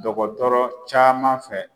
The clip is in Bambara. Dɔgɔtɔrɔ caman fɛ